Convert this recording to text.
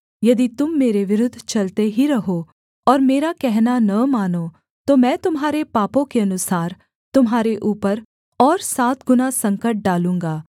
यदि तुम मेरे विरुद्ध चलते ही रहो और मेरा कहना न मानो तो मैं तुम्हारे पापों के अनुसार तुम्हारे ऊपर और सात गुणा संकट डालूँगा